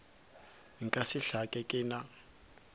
nka se hlake ke na